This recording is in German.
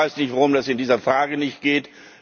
Ich weiß nicht, warum das in dieser Frage nicht geht.